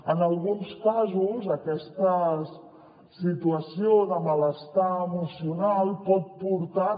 en alguns casos aquesta situació de malestar emocional pot portar